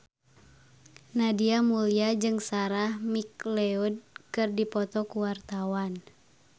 Nadia Mulya jeung Sarah McLeod keur dipoto ku wartawan